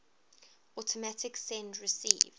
automatic send receive